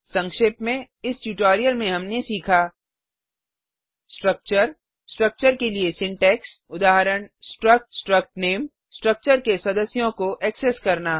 सक्षेप में इस ट्यूटोरियल में हमने सीखा स्ट्रक्चर स्ट्रक्चर के लिए सिंटैक्स उदाहरण स्ट्रक्ट struct name स्ट्रक्चर के सदस्यों को एक्सेस करना